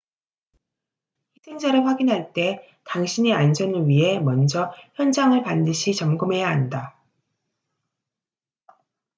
희생자를 확인할 때 당신의 안전을 위해 먼저 현장을 반드시 점검해야 한다